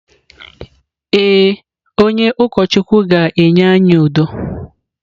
Ee, onye ụkọchukwu ga-enye anyị udo.